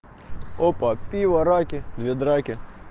опа пиво раки две драки